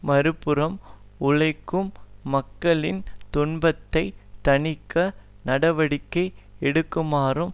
மறுபுறம் உழைக்கும் மக்களின் துன்பத்தை தணிக்க நடவடிக்கை எடுக்குமாறும்